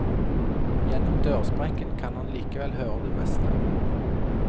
Gjennom dørsprekken kan han likevel høre det meste.